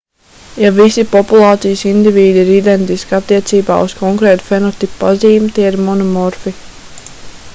ja visi populācijas indivīdi ir identiski attiecībā uz konkrētu fenotipa pazīmi tie ir monomorfi